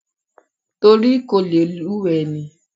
Torí kò lè lùwẹ̀ ni.